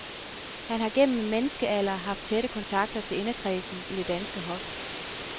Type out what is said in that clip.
Han har gennem en menneskealder haft tætte kontakter til inderkredsen i det danske hof.